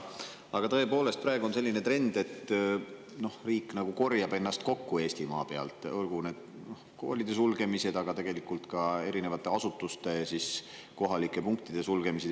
Aga tõepoolest, praegu on selline trend, et riik ennast kokku kogu Eestimaal, olgu need koolide sulgemised või tegelikult ka erinevate asutuste kohalike punktide sulgemised.